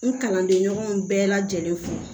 N kalanden ɲɔgɔn bɛɛ lajɛlen fo